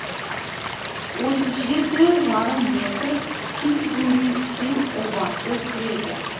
отыз жеті жарым метр сильбюри хилл обасы кіреді